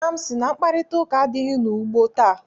Nna m sị na mkparịtaụka adịghị n'ugbo taa.